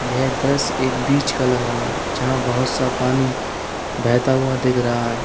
यह दृश्य एक बीच का लग रहा है जहां बहोत सा पानी बहता हुआ दिख रहा है।